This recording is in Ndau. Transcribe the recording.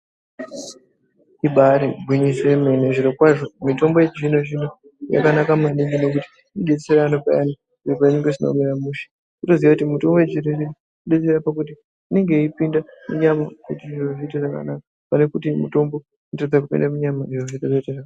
Ibaari gwinyiso yemene zvirokwazvo mitombo yechizvino-zvino yakanaka maningi ngekuti inodetsera anhu payani zviro pazvinenge zvisina kumira mushe wotoziye kuti mitombo inenge yeipinda munyama kuti zvito zviite zvakanaka panekuti mitombo inotadza kupinda munyama...